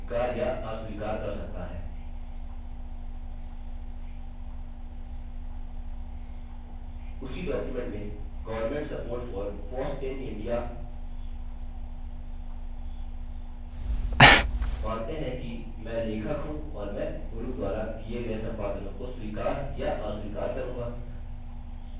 उसी डॉक्युमेंट में governmentsupportforfossinindia मानते हैं कि मैं लेखक हूँ और मैं गुरू द्वारा किये गये संपादनों को स्वीकार या अस्वीकार करूँगा